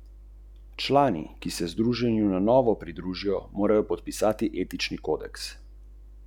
Roman, ki je v Makedoniji uspešnica, tematizira vojno, a ni popolnoma jasno katero.